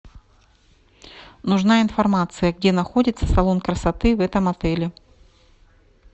нужна информация где находится салон красоты в этом отеле